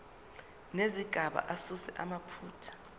nezigaba asuse amaphutha